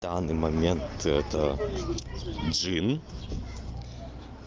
данный момент это джин